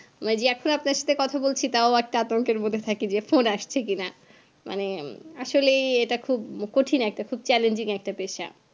মানে এখন যে আপনার সাথে কথা বলছি তাও একটা আতঙ্কের মদ্ধে থাকি যে phone আসছে কি না মানে আসলেই এটা খুব কঠিন একটা challenging একটা পেশা